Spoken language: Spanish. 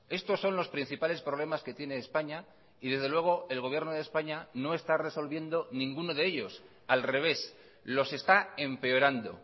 estos son los principales problemas que tiene españa y desde luego el gobierno de españa no está resolviendo ninguno de ellos al revés los está empeorando